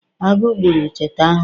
Agụ gburu cheeta ahu